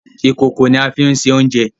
Ìkòkò ní a fín ṣe oúnjẹ